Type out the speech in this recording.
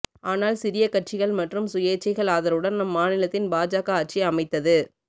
ஆனால் சிறிய கட்சிகள் மற்றும் சுயேச்சைகள் ஆதரவுடன் அம்மாநிலத்தின் பாஜக ஆட்சி அமைத்தது